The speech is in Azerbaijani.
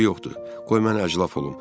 Eybi yoxdur, qoy mən əclaf olum.